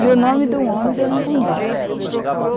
E o nome de um homem que eu não conheço.